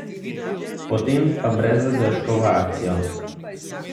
Potem pa brez zadržkov v akcijo!